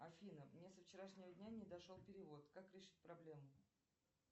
афина мне со вчерашнего дня не дошел перевод как решить проблему